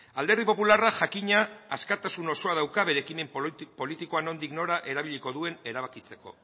alderdi popularra jakina askatasun osoa dauka bere ekimen politikoa nondik nora erabiliko duen erabakitzeko